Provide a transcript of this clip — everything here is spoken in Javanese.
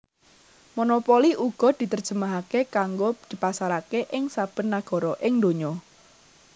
Monopoli uga diterjemahake kanggo dipasarake ing saben nagara ing donya